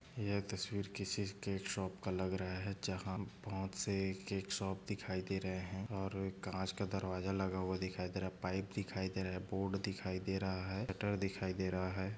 यह तस्वीर किसी केक शॉप का लग रहा है जहा बहुत से केक शॉप दिखाई दे रहे है और काच का दरवाजा लगा हुवा दिखाई दे रहा है पाइप दिखाई दे रहा है बोर्ड दिखाई दे रहा है शटर दिखाई दे रहा है।